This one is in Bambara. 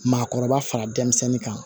Maakɔrɔba fara denmisɛnnin kan